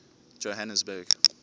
johannesburg